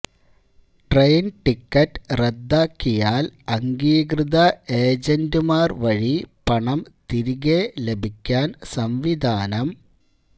train ticket റദ്ദാക്കിയാല് അംഗീകൃത ഏജന്റുമാര് വഴി പണം തിരികെ ലഭിക്കാന് സംവിധാനം